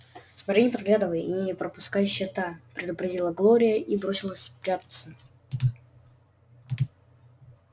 смотри не подглядывай и не пропускай счета предупредила глория и бросилась прятаться